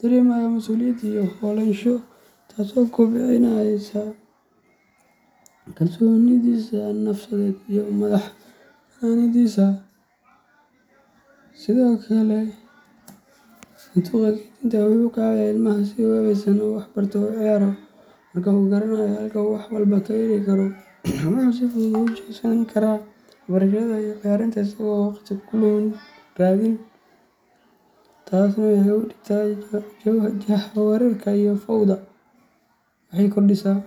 dareemayaa masuuliyad iyo lahaansho, taasoo kobcinaysa kalsoonidiisa nafsadeed iyo madax bannaanidiisa. Sidoo kale, sanduuqa keydinta wuxuu ka caawiyaa ilmaha in uu si habaysan wax u barto oo u ciyaaro. Marka uu garanayo halka uu wax walba ka heli karo, wuxuu si fudud ugu jeesan karaa waxbarashada ama ciyaarta isagoo aan waqti ku lumin raadin. Tani waxay hoos u dhigtaa jahawareerka iyo fawda, waxayna kordhisaa .